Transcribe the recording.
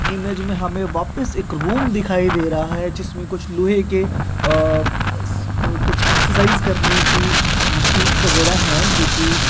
image में हमें वापिस एक रूम दिखाई दे रहा है जिसमें कुछ लोहे के अ अ कुछ एक्सरसाइज करने की मशीनस वगैरा है जो की--